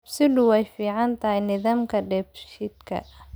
Kabsiddu waa fiican tahay nidaamka dheef-shiidka.